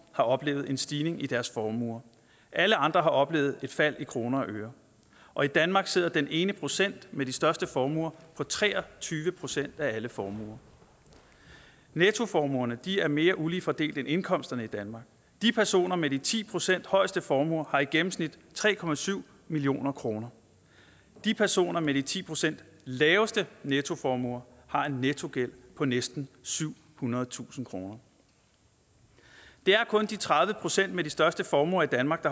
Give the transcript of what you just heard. har oplevet en stigning i deres formue alle andre har oplevet et fald i kroner og øre og i danmark sidder den ene procent med de største formuer på tre og tyve procent af alle formuer nettoformuerne er mere ulige fordelt end indkomsterne i danmark de personer med de ti procent højeste formuer har i gennemsnit tre million kroner de personer med de ti procent laveste nettoformuer har en nettogæld på næsten syvhundredetusind kroner det er kun de tredive procent med de største formuer i danmark